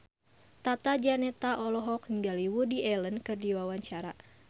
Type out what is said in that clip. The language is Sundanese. Tata Janeta olohok ningali Woody Allen keur diwawancara